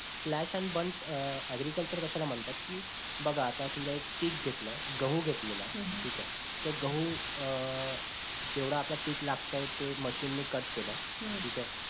flash and burnagreeculture कशाला म्हणतात कि बघा आता समजा एक पीक घेतलंय गहू घेतलेला आहे ठीक आहे त्या गहू अं जेवढ आपल्या पीक लागतंय ते machine नि cut केलंय हम्म ठीक आहे